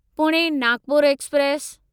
Pune Nagpur express